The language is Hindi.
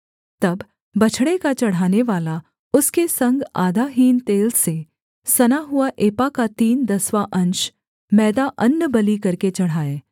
तब बछड़े का चढ़ानेवाला उसके संग आधा हीन तेल से सना हुआ एपा का तीन दसवाँ अंश मैदा अन्नबलि करके चढ़ाए